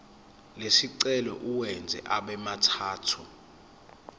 lesicelo uwenze abemathathu